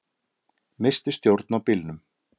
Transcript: Missti stjórn á bílnum